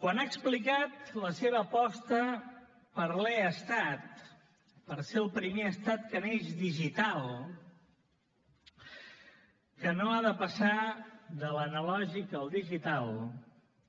quan ha explicat la seva aposta per l’e estat per ser el primer estat que neix digital que no ha de passar de l’analògic al digital